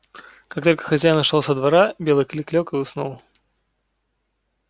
как только хозяин ушёл со двора белый клык лёг и уснул